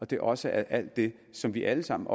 det også er alt det som vi alle sammen